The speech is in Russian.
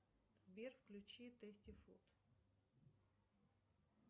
сбер включи тести фуд